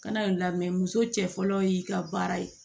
Kana lamɛn muso cɛ fɔlɔ y'i ka baara ye